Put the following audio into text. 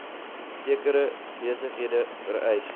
sekere besighede vereis